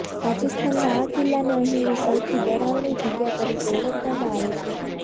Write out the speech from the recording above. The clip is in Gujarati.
રાજસ્થાનના આ કિલ્લાને અહીંની સૌથી ડરાવણી જગ્યા તરીકે ઓળખવામાં આવે છે